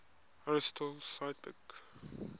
aristotle cite book